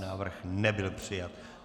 Návrh nebyl přijat.